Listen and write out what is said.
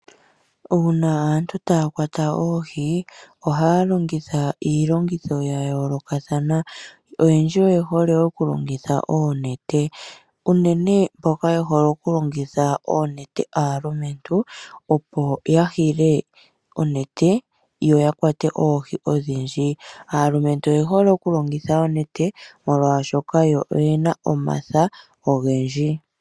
Uuna aantu taya kwata oohi ohaya longitha iilongitho ya yoolokathana. Oyendji oye hole wo okulongitha oonete. Unene mboka ye hole okulongitha oonete aalumentu opo ya hile onete yo ya kwate oohi odhindji. Aalumentu oye hole okulongitha onete molwashoka yo oyena omatha ogendji.